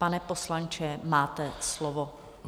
Pane poslanče, máte slovo.